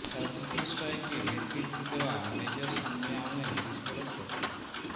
surgical স্ট্রাইকে নেতৃত্বে দেওয়া মেজর সামনে আনলেন বিস্ফোরক তথ্য